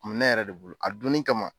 Kun m ne yɛrɛ de bolo, a don nin kama